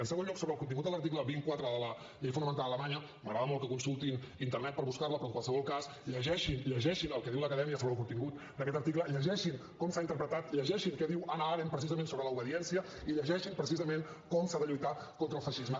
en segon lloc sobre el contingut de l’article dos cents i quatre de la llei fonamental alemanya m’agrada molt que consultin internet per buscar la però en qualsevol cas llegeixin llegeixin el que diu l’acadèmia sobre el contingut d’aquest article llegeixin com s’ha interpretat llegeixin què diu hannah arendt precisament sobre l’obediència i llegeixin precisament com s’ha de lluitar contra el feixisme